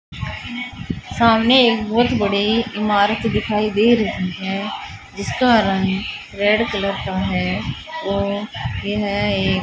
सामने एक बहुत बड़ी इमारत दिखाई दे रही है जिसका रंग रेड कलर का है और यह ए --